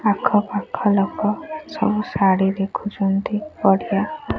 ଆଖ ପାଖ ଲୋକ ସବୁ ଶାଢ଼ୀ ଦେଖୁଚନ୍ତି ବଢ଼ିଆ।